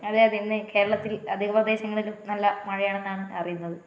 അതെ അതെ ഇന്ന് കേരളത്തില് അധിക പ്രദേശങ്ങളിലും നല്ല മഴയാണെന്നാണ് അറിയുന്നത്